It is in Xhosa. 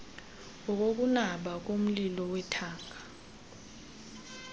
ngokokunaba komlibo wethanga